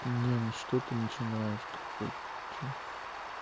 ну ну что ты начинаешь как бы чё